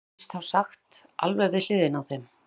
heyrðist þá sagt alveg við hliðina á þeim.